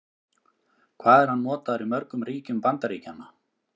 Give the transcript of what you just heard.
Hvað er hann notaður í mörgum ríkjum Bandaríkjanna?